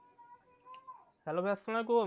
Hello .